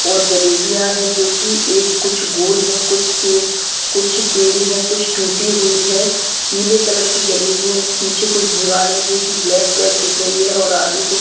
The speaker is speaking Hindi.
और जलेबिया है जो कि एक कुछ गोल है कुछ से कुछ टेढ़ी है कुछ टूटी हुई है पीले कलर कि जलेबी है पीछे कुछ दीवार है जो ब्लैक ब्लैक दिख रही और आगे कुछ --